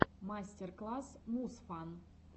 мастер класс мусфан